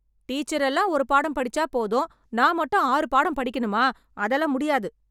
Teacher எல்லாம் ஒரு பாடம் படிச்சா போதும், நான் மட்டும் ஆறு பாடம் படிக்கணுமா? அதெல்லாம் முடியாது.